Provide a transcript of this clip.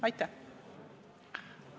Aitäh!